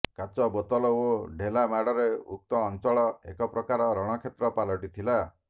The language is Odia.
କାଚବୋତଲ ଓ ଢେଲା ମାଡରେ ଉକ୍ତ ଅଞ୍ଚଳ ଏକପ୍ରକାର ରଣକ୍ଷେତ୍ର ପାଲଟିଥିଲା